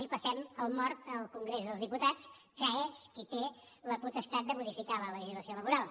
li passem el mort al congrés dels diputats que és qui té la potestat de modificar la legislació laboral